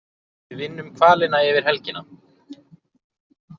Við vinnum hvalina yfir helgina